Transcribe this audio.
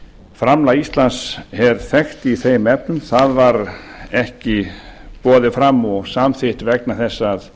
framlag íslands er þekkt í þeim efnum það var ekki boðið fram og samþykkt vegna þess að